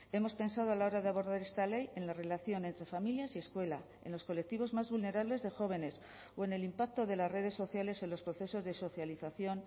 hemos pensado a la hora de abordar esta ley en la relación entre familias y escuela en los colectivos más vulnerables de jóvenes o en el impacto de las redes sociales en los procesos de socialización